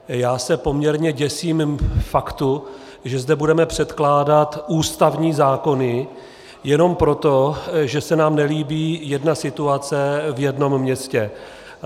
Já se poměrně děsím faktu, že zde budeme předkládat ústavní zákony jenom proto, že se nám nelíbí jedna situace v jednom městě.